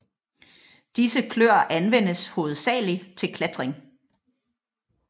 Disse kløer anvendes hovedsageligt til klatring